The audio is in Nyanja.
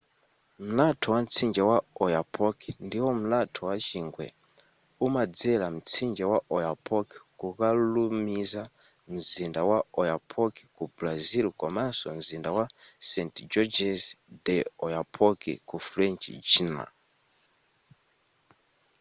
mlatho wa mtsinje wa oyapock ndiwo mlatho wa chingwe umadzera mtsinje wa oyapock kukalumiza mzinda wa oiapoque ku brazil komanso mzinda wa saint-georges de l'oyapock ku french guiana